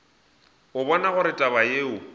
a bona gore taba yeo